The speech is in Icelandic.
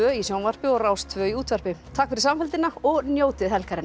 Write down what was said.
í sjónvarpi og Rás tvö í útvarpi takk fyrir samfylgdina og njótið helgarinnar